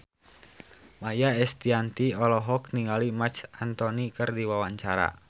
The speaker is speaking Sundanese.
Maia Estianty olohok ningali Marc Anthony keur diwawancara